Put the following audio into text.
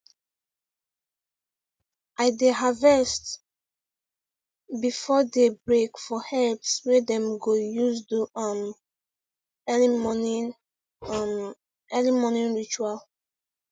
i dey harvest before day break for herbs wey dem go use do um early morning um early morning ritual